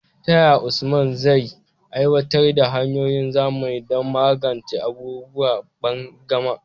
Ta yaya Usman zai aiwatar da hanyoyin zamani don magance abubuwan banƙyama?